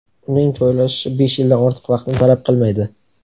Uning joylashishi besh yildan ortiq vaqtni talab qilmaydi.